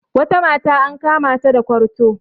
wata mata an kamata da kwarto